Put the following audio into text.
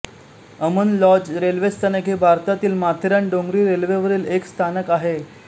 Aman lodge railway स्थानक हे भारतातील माथेरान डोंगरी रेल्वेवरील एक स्थानक आहे